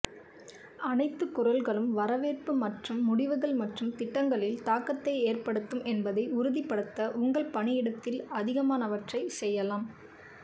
அனைத்து குரல்களும் வரவேற்பு மற்றும் முடிவுகள் மற்றும் திட்டங்களில் தாக்கத்தை ஏற்படுத்தும் என்பதை உறுதிப்படுத்த உங்கள் பணியிடத்தில் அதிகமானவற்றை செய்யலாம்